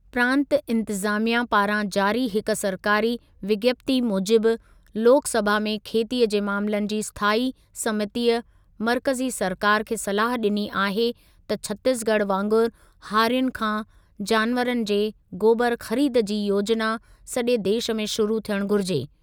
प्रांत इंतिज़ामिया पारां जारी हिक सरकारी विज्ञप्ति मूजिबि लोकसभा में खेतीअ जे मामलनि जी स्थायी समितीअ मर्कज़ी सरकारि खे सलाह ॾिनी आहे त छतीसगढ़ वांगुर हारियुनि खां जानवरनि जे गोबरु ख़रीद जी योजिना सॼे देशु में शुरू थियण घुरिजे।